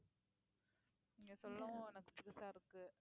நீங்க சொல்லவும் எனக்கு புதுசா இருக்கு